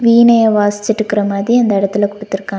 வீணைய வாசிச்சுட்ருக்க மாதிரி அந்த இடத்துல குடுத்துருக்காங்க.